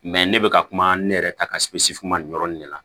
ne bɛ ka kuma ne yɛrɛ ta ka si fu ma nin yɔrɔ in de la